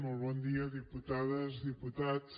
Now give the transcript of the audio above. molt bon dia diputades diputats